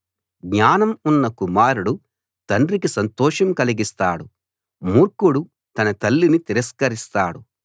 జ్ఞానం ఉన్న కుమారుడు తండ్రికి సంతోషం కలిగిస్తాడు మూర్ఖుడు తన తల్లిని తిరస్కరిస్తాడు